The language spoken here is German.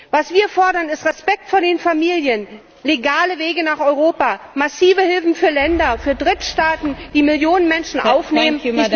Was wir fordern, ist Respekt vor den Familien, legale Wege nach Europa, massive Hilfen für Länder, für Drittstaaten, die Millionen Menschen aufnehmen.